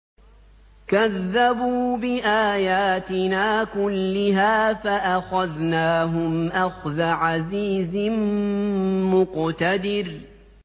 كَذَّبُوا بِآيَاتِنَا كُلِّهَا فَأَخَذْنَاهُمْ أَخْذَ عَزِيزٍ مُّقْتَدِرٍ